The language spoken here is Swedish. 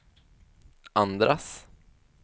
andras